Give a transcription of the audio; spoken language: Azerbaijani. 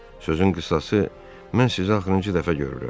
Sözün qısası, mən sizi axırıncı dəfə görürəm.